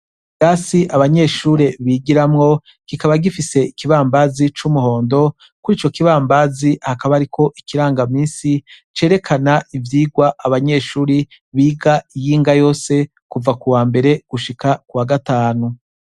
Ikirasi abanyeshure bigiramwo kikaba gifise ikibambazi c' umuhondo kwico kibambazi hakaba hariko ikirangamisi cerekana ivyigwa abanyeshure biga iyinga yose kuva kuwambere gushika kuwagatanu.